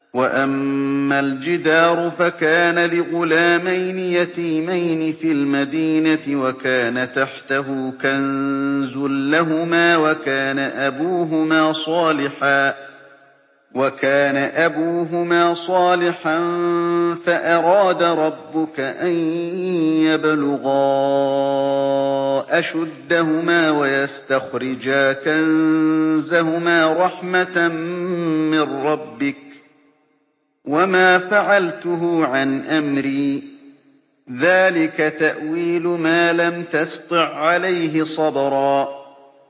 وَأَمَّا الْجِدَارُ فَكَانَ لِغُلَامَيْنِ يَتِيمَيْنِ فِي الْمَدِينَةِ وَكَانَ تَحْتَهُ كَنزٌ لَّهُمَا وَكَانَ أَبُوهُمَا صَالِحًا فَأَرَادَ رَبُّكَ أَن يَبْلُغَا أَشُدَّهُمَا وَيَسْتَخْرِجَا كَنزَهُمَا رَحْمَةً مِّن رَّبِّكَ ۚ وَمَا فَعَلْتُهُ عَنْ أَمْرِي ۚ ذَٰلِكَ تَأْوِيلُ مَا لَمْ تَسْطِع عَّلَيْهِ صَبْرًا